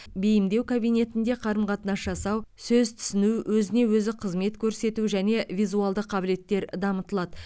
бейімдеу кабинетінде қарым қатынас жасау сөз түсіну өзіне өзі қызмет көрсету және визуалды қабілеттер дамытылады